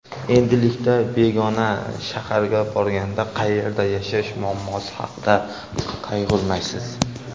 Endilikda begona shaharga borganda qayerda yashash muammosi haqida qayg‘urmaysiz!